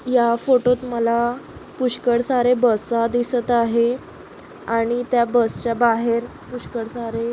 या फोटो त मला पुष्कळ सारे बसा दिसत आहे आणि त्या बस च्या बाहेर पुष्कळ सारे --